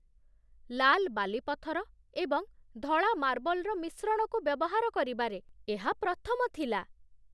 ଲାଲ୍ ବାଲିପଥର ଏବଂ ଧଳା ମାର୍ବଲ୍‌ର ମିଶ୍ରଣକୁ ବ୍ୟବହାର କରିବାରେ ଏହା ପ୍ରଥମ ଥିଲା।